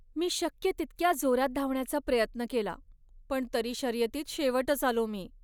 मी शक्य तितक्या जोरात धावण्याचा प्रयत्न केला पण तरी शर्यतीत शेवटच आलो मी.